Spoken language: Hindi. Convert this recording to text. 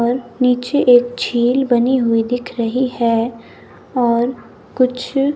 और नीचे एक झील बनी हुई दिख रही है और कुछ--